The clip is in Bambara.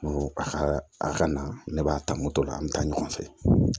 Ko a ka a ka na ne b'a ta moto la an bɛ taa ɲɔgɔn fɛ